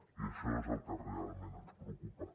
i això és el que realment ens preocupa